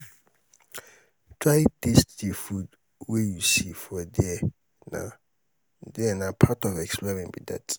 try taste the food wey you see for there na there na part of exploring be that